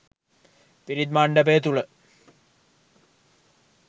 පිරිත් මණ්ඩපය තුළ